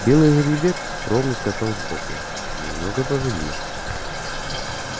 белый жеребец ровно скакал сбоку немного позади